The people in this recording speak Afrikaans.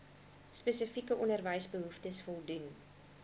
spesifieke onderwysbehoeftes voldoen